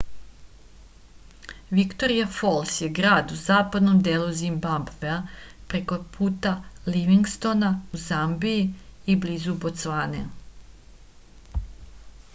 viktorija fols je grad u zapadnom delu zimbabvea preko puta livingstona u zambiji i blizu bocvane